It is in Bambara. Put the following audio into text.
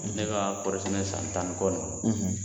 Ne ka kɔɔri sɛnɛ san tan ni kɔ in kɔnɔ